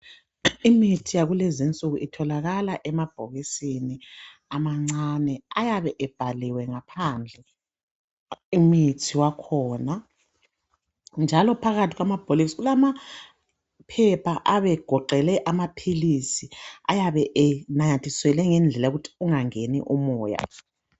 Imithi yakulezi insuku itholakala emabhokisini amancane ayabe ebhaliwe ngaphandle, imithi wakhona, njalo phakathi kwamabhokisi kulamaphepha abe egoqele amaphilisi, ayabe enanyathiselwe ngendlela yokuthi kungangeni umoya.